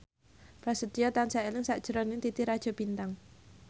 Prasetyo tansah eling sakjroning Titi Rajo Bintang